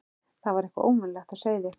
Það var eitthvað óvenjulegt á seyði.